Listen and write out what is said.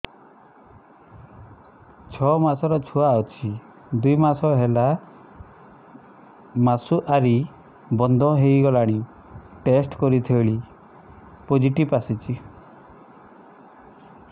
ଛଅ ମାସର ଛୁଆ ଅଛି ଦୁଇ ମାସ ହେଲା ମାସୁଆରି ବନ୍ଦ ହେଇଗଲାଣି ଟେଷ୍ଟ କରିଥିଲି ପୋଜିଟିଭ ଆସିଛି